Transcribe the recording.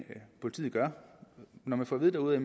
politiet gør når man får at vide derude at